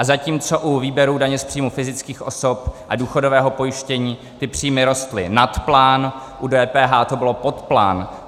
A zatímco u výběru daně z příjmu fyzických osob a důchodového pojištění ty příjmy rostly nad plán, u DPH to bylo pod plán.